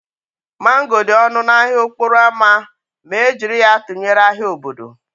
Mango dị ọnụ n'ahịa okporo ámá ma e jiri ya tụnyere ahịa obodo